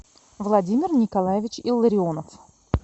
владимир николаевич илларионов